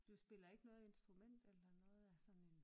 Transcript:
Du spiller ikke noget instrument eller noget af sådan en